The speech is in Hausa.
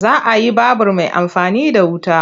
Za a yi babur mai amfani da wuta.